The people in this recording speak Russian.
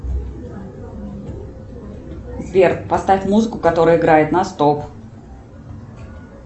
сбер поставь музыку которая играет на стоп